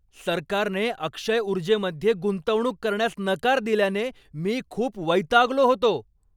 सरकारने अक्षय ऊर्जेमध्ये गुंतवणूक करण्यास नकार दिल्याने मी खूप वैतागलो होतो.